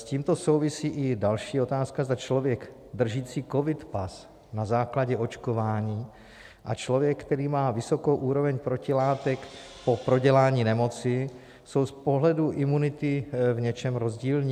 S tímto souvisí i další otázka, zda člověk držící covid pas na základě očkování a člověk, který má vysokou úroveň protilátek po prodělání nemoci, jsou z pohledu imunity v něčem rozdílní?